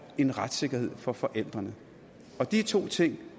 en retssikkerhed for forældrene de to ting